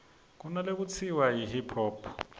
kunalekutsiwa yi hip hop